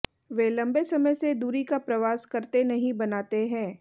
वे लंबे समय से दूरी का प्रवास करते नहीं बनाते हैं